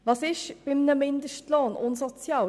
Was ist an einem Mindestlohn unsozial?